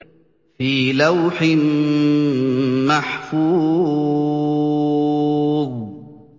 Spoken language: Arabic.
فِي لَوْحٍ مَّحْفُوظٍ